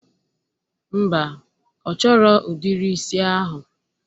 Mba, ọ chọrọ udiri isi ahụ